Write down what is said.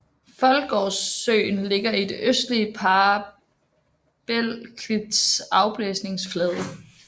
Foldgårdssøen ligger i den østligste parabelklits afblæsningsflade